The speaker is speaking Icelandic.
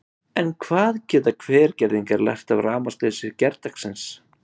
En hvað geta Hvergerðingar lært af rafmagnsleysi gærdagsins?